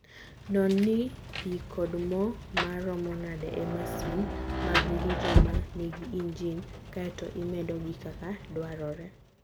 Non ni pi kod mo ma romo nade e masin mag ng'injo ma nigi injin, kae to imedogi kaka dwarore.